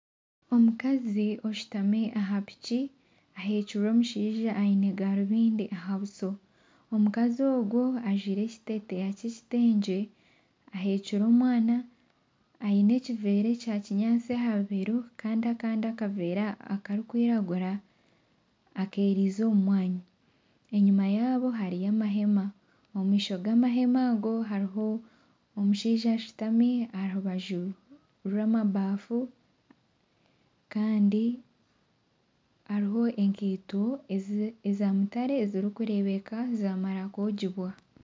Omukazi oshutami aha Piki ahekirwe omushaija ayine garubindi aha buso. Omukazi ogu ajwire ekiteteyi ky'ekitengye, ahekire omwana, ayine ekivera ekya kinyaatsi aha bibero Kandi akandi akavera akarikwiragira akeriize omu mwanya. Enyima yaabo hariyo amahema. Omumisho g'amahema ago, hariho omushaija ashutami aharubaju rw'amabafu Kandi hariho enkiito ezamutare ezirikurebeka zamara kwogibwa.